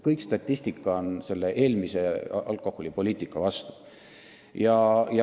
Kogu statistika on selle vastu.